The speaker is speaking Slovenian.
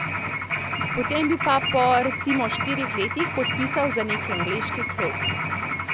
Potem bi pa po, recimo, štirih letih podpisal za neki angleški klub.